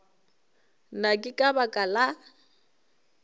na ke ka baka la